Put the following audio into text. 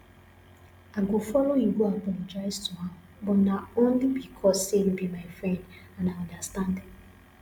i go follow you go apologise to am but na only because say you be my friend and i understand